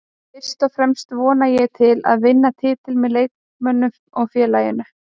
Fyrst og fremst vonast ég til að vinna titilinn með leikmönnunum og félaginu